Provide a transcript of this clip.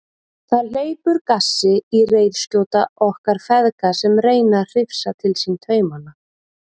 Það hleypur gassi í reiðskjóta okkar feðga sem reyna að hrifsa til sín taumana.